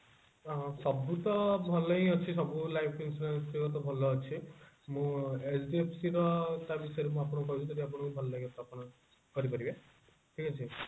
ସବୁତ ଭଲ ହିଁ ଅଛି ସବୁ life insurance ସବୁ ଭଲ ଅଛି ମୁଁ HDFC ର ତା ବିଷୟରେ ଆପଣଙ୍କୁ କହିବି ଯଦି ଆପଣଙ୍କୁ ଭଲ ଲାଗିବ ତ ଆପଣ କରିପାରିବେ ଠିକ ଅଛି